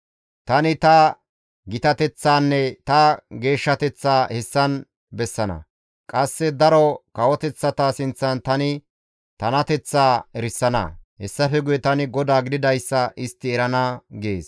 Tani ta gitateththaanne ta geeshshateththaa hessan bessana. Qasse daro kawoteththata sinththan tani tanateththaa erisana. Hessafe guye tani GODAA gididayssa istti erana› gees.